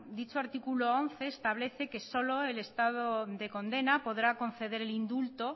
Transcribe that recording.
dicho artículo once establece que solo el estado de condena podrá conceder el indulto